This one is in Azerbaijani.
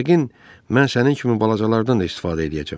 Yəqin mən sənin kimi balacalardan da istifadə eləyəcəm.